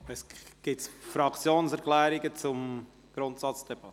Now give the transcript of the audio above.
Gibt es Fraktionserklärungen zur Grundsatzdebatte?